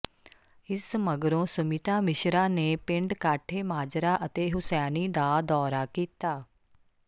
ਇਸ ਮਗਰੋਂ ਸੁਮਿਤਾ ਮਿਸ਼ਰਾ ਨੇ ਪਿੰਡ ਕਾਠੇ ਮਾਜਰਾ ਅਤੇ ਹੁਸੈਣੀ ਦਾ ਦੌਰਾ ਕੀਤਾ